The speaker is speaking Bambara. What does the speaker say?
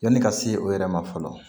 Yani ka se o yɛrɛ ma fɔlɔ